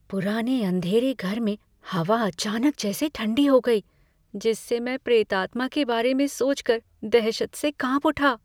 पुराने अंधेरे घर में हवा अचानक जैसे ठंडी हो गई, जिससे मैं प्रेतात्मा के बारे में सोचकर दहशत से कांप उठा।